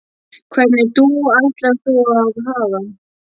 Hvernig dúfu ætlar þú að hafa?